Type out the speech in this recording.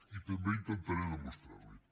i també intentaré demostrar l’hi